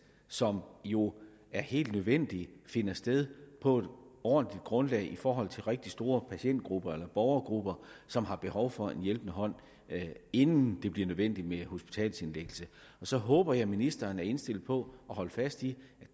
som jo er helt nødvendigt finder sted på et ordentligt grundlag for rigtig store patientgrupper eller borgergrupper som har behov for en hjælpende hånd inden det bliver nødvendigt med hospitalsindlæggelse så håber jeg at ministeren er indstillet på at holde fast i at